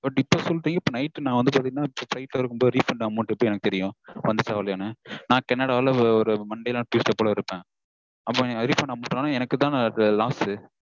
But இப்போ சொல்லிட்டீங்க. இப்போ night நா வந்து பாத்தீங்கனா flight -ல இருக்கும்போது refund amount எப்படி எனக்கு தெரியும் வந்துச்சா வரலையானு. நா கனடால ஒரு monday இல்ல tuesday போல இருப்பேன். அப்போ என் refund amount வரலனா எனக்குதான loss?